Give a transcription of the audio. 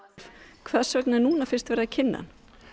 hvers vegna er núna fyrst verið að kynna hann